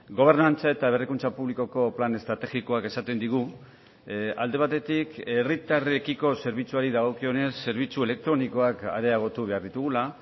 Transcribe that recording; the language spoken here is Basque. gobernantza eta berrikuntza publikoko plan estrategikoak esaten digu alde batetik herritarrekiko zerbitzuari dagokionez zerbitzu elektronikoak areagotu behar ditugula